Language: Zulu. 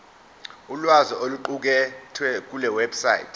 ulwazi oluqukethwe kulewebsite